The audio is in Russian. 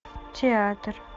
театр